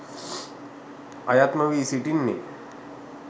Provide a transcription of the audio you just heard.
අයත් නොවී සිටින්නේ.